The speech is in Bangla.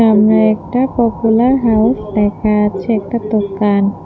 সামনে একটা পপুলার হাউস লেখা আছে একটা দোকান।